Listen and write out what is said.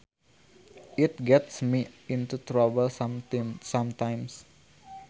It gets me into trouble sometimes